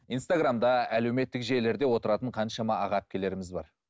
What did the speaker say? инстаграмда әлеуметтік желілерде отыратын қаншама аға әпкелеріміз бар